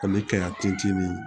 Ani kɛ min